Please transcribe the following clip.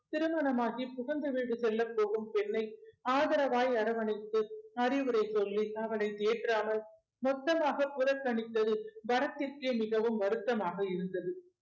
திருமணம் ஆகி புகுந்த வீடு செல்லப்போகும் பெண்ணை ஆதரவாய் அரவணைத்து அறிவுரை சொல்லி அவளை தேற்றாமல் மொத்தமாக புறக்கணித்தது பரத்திற்கே மிகவும் வருத்தமாக இருந்தது